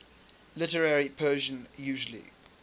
literary persian usually